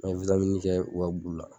kɛ u ka bu la.